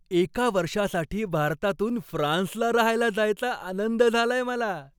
एका वर्षासाठी भारतातून फ्रान्सला राहायला जायचा आनंद झालाय मला.